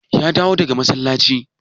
Ya dawo daga masallaci?